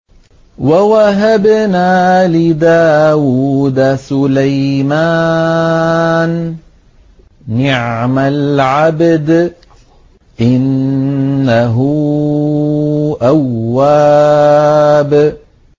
وَوَهَبْنَا لِدَاوُودَ سُلَيْمَانَ ۚ نِعْمَ الْعَبْدُ ۖ إِنَّهُ أَوَّابٌ